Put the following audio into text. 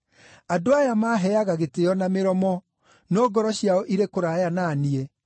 “ ‘Andũ aya maaheaga gĩtĩĩo na mĩromo, no ngoro ciao irĩ kũraya na niĩ.